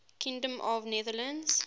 kingdom of the netherlands